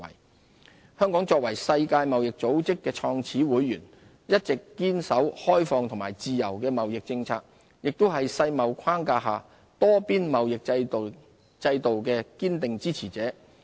自由貿易協定香港作為世界貿易組織的創始會員，一直堅守開放和自由的貿易政策，亦是世貿框架下多邊貿易制度的堅定支持者。